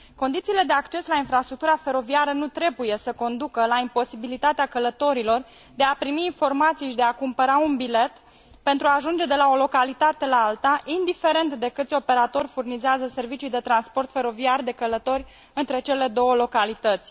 Condițiile de acces la infrastructura feroviară nu trebuie să conducă la imposibilitatea călătorilor de a primi informații și de a cumpăra un bilet pentru ajunge de la o localitate la alta, indiferent de câți operatori furnizează servicii de transport feroviar de călători între cele două localități.